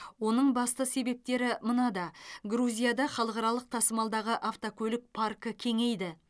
оның басты себептері мынада грузияда халықаралық тасымалдағы автокөлік паркі кеңейді